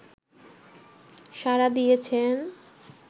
সাড়া দিয়েছেন